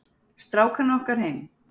Strákana okkar heim.